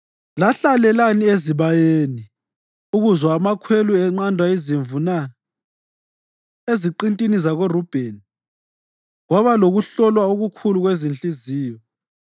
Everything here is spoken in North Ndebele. Lahlalelani ezibayeni ukuzwa amakhwelo enqanda izimvu na? Eziqintini zakoRubheni, kwaba lokuhlolwa okukhulu kwezinhliziyo.